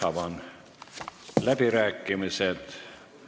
Avan läbirääkimised.